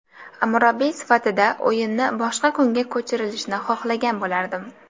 Murabbiy sifatida o‘yinni boshqa kunga ko‘chirilishini xohlagan bo‘lardim.